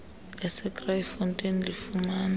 ese kraaifontein lifumana